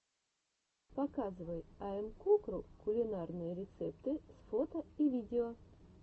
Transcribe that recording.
показывай айэмкукру кулинарные рецепты с фото и видео